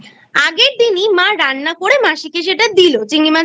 আগের দিনই মা রান্না করে মাসিকে সেটা দিল চিংড়ি মাছের